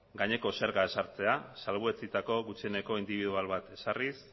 gaineko zerga ezartzea salbuetsitako gutxieneko indibidual bat ezarriz